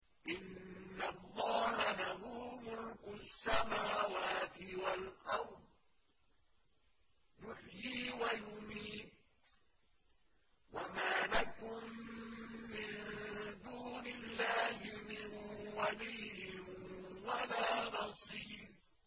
إِنَّ اللَّهَ لَهُ مُلْكُ السَّمَاوَاتِ وَالْأَرْضِ ۖ يُحْيِي وَيُمِيتُ ۚ وَمَا لَكُم مِّن دُونِ اللَّهِ مِن وَلِيٍّ وَلَا نَصِيرٍ